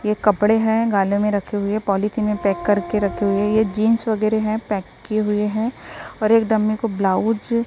ये कपड़े हैं गाले में रखे हुए पॉलिथीन में पैक करके रखे हुए ये जींस वगैरे हैं पैक किए हुए हैं और एकदम में को ब्लाउज --